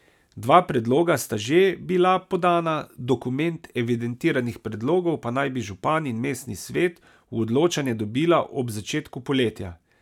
Dva predloga sta že bila podana, dokument evidentiranih predlogov pa naj bi župan in mestni svet v odločanje dobila ob začetku poletja.